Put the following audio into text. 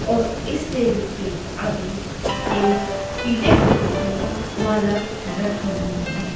और इस डेयरी के आगे एक पिले फूलों माला राखी हुई हैं।